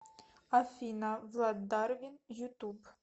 афина влад дарвин ютуб